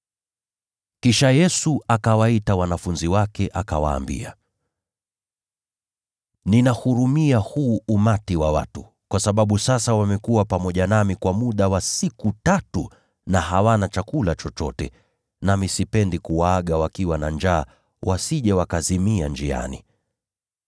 Kisha Yesu akawaita wanafunzi wake, akawaambia, “Ninauhurumia huu umati wa watu, kwa sababu sasa wamekuwa pamoja nami kwa muda wa siku tatu, na hawana chakula chochote. Nami sipendi kuwaaga wakiwa na njaa, wasije wakazimia njiani.”